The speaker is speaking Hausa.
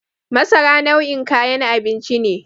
Masara nau'in kayan abinci ce.